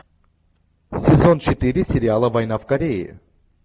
сезон четыре сериала война в корее